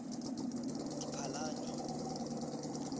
diphalane